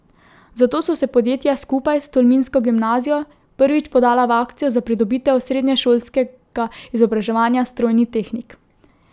Zato so se podjetja skupaj s tolminsko gimnazijo prvič podala v akcijo za pridobitev srednješolskega izobraževanja strojni tehnik.